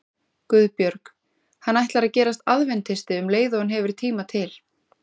GUÐBJÖRG: Hann ætlar að gerast aðventisti um leið og hann hefur tíma til.